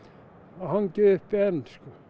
og hangi uppi enn